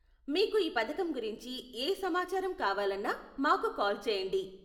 మీకు ఈ పధకం గురించి ఏ సమాచారం కావాలన్నా మాకు కాల్ చేయండి.